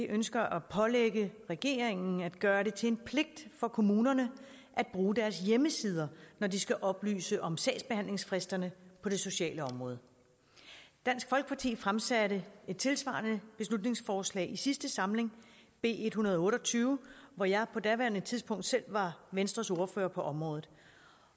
ønsker at pålægge regeringen at gøre det til en pligt for kommunerne at bruge deres hjemmesider når de skal oplyse om sagsbehandlingsfristerne på det sociale område dansk folkeparti fremsatte et tilsvarende beslutningsforslag i sidste samling b en hundrede og otte og tyve hvor jeg på daværende tidspunkt selv var venstres ordfører på området